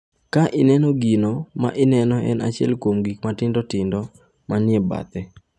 Ka ineno gino ma ineno en achiel kuom gik matindo tindo ma ni e bathe.